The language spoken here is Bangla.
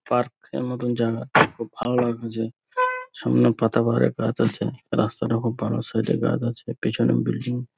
পার্ক -এর মত জায়গা খুব ভালো লাগল যে সামনে পাতাবাহারের গাছ আছে রাস্তাটা খুব ভালো সাইড -এ গাছ আছে পিছনে ও বিল্ডিং ।